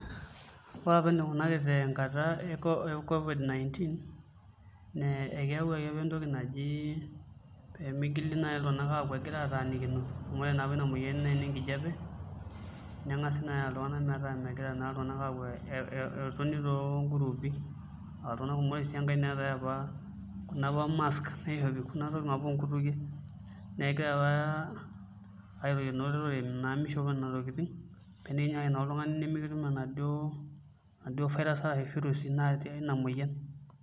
Ore apa enikunaki tenkata ee COVID 19 naa ekeyawuaki apa entoki naaji mitoki iltung'ana apuo egira atanikino amu ore naa apa ena moyian naa eninkijiape neeku metoni iltung'ana too groupi araon iltung'ana kumok neetai sii apa Kuna tokitin oo nkutukie negira apa ajoki olorere mishopo Nena tokitin paa tenikinyikaki oladuo tung'ani nimikitum enaduo virus natii enaduo moyian